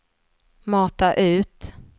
mata ut